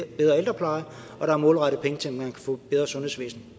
bedre ældrepleje og der er målrettet penge til at man kan få et bedre sundhedsvæsen